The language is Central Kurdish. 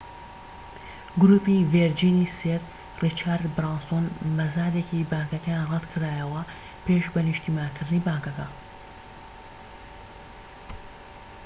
گروپی ڤێرجینی سێر ڕیچارد برانسۆن مەزادێکی بانکەکەیان ڕەتکرایەوە پێش بە نیشتیمانیکردنی بانکەکە